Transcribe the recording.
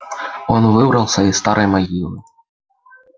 он выбрался из старой могилы